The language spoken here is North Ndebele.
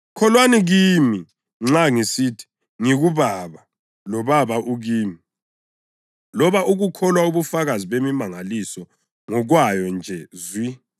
Kholwani kimi nxa ngisithi ngikuBaba loBaba ukimi; loba ukukholwa ubufakazi bemimangaliso ngokwayo nje zwi.